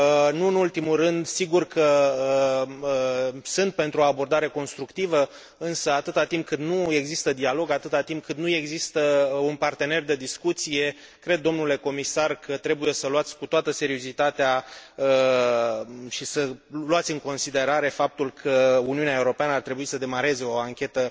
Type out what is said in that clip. Nu în ultimul rând, sigur că sunt pentru o abordare constructivă însă, atâta timp cât nu există dialog, atâta timp cât nu există un partener de discuție cred, domnule Comisar, că trebuie să luați în considerare cu toată seriozitatea faptul că Uniunea Europeană ar trebui să demareze o anchetă